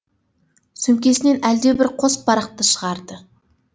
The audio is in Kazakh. сөмкесінен әлде бір қос парақты шығарды